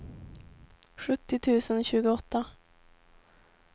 sjuttio tusen tjugoåtta